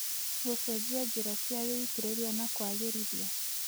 gũcenjia njĩra cia wĩitĩrĩria, na kũagĩrithia